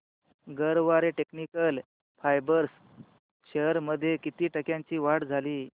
Garware technical fibres shares मध्ये किती टक्क्यांची वाढ झाली